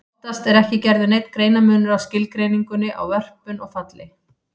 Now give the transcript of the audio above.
Oftast er ekki gerður neinn greinarmunur á skilgreiningunni á vörpun og falli.